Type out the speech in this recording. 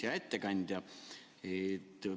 Hea ettekandja!